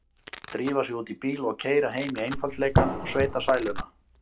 Drífa sig út í bíl og keyra heim í einfaldleikann og sveitasæluna.